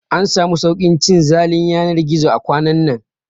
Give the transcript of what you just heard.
An samu sauƙin cin zalin yanar gizo a kwanan nan